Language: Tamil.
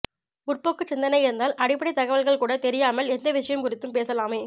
முற்போக்குச் சிந்தனை இருந்தால் அடிப்படைத்தகவல்கள்கூட தெரியாமல் எந்த விஷயம் குறித்தும் பேசலாமே